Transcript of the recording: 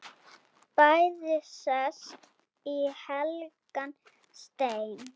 Bæði sest í helgan stein.